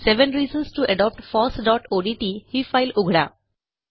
seven reasons to adopt fossओडीटी ही file उघडा